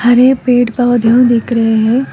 हरे पेड़ पौधा दिख रहे है।